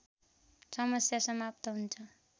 समस्या समाप्त हुन्छ